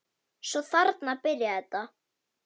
Svo þarna byrjaði þetta.